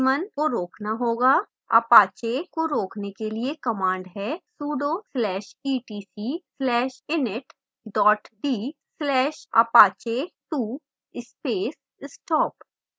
apache को रोकने के लिए command है